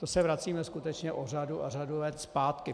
To se vracíme skutečně o řadu a řadu let zpátky.